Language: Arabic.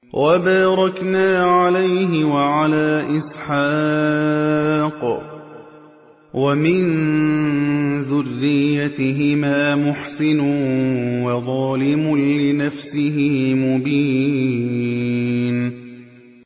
وَبَارَكْنَا عَلَيْهِ وَعَلَىٰ إِسْحَاقَ ۚ وَمِن ذُرِّيَّتِهِمَا مُحْسِنٌ وَظَالِمٌ لِّنَفْسِهِ مُبِينٌ